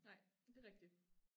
Nej det rigtig